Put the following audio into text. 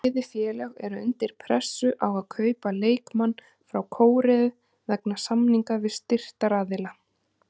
Bæði félög eru undir pressu á að kaupa leikmann frá Kóreu vegna samninga við styrktaraðila.